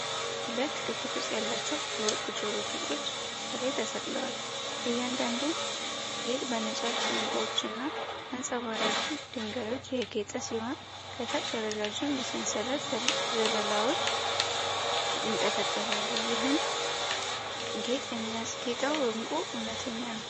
ሁለት ክብ ቅርፅ ያላቸው የወርቅ ጆሮ ጌጦች ከላይ ተሰቅለዋል። እያንዳንዱ ጌጥ በነጫጭ ዕንቁዎችና አንጸባራቂ ድንጋዮች ያጌጠ ሲሆን፣ ከታች ረዣዥም የሰንሰለት ዘለላዎች ይንጠለጠላሉ። ይህን ጌጥ የሚያስጌጠው ዕንቁ እውነተኛ ነው?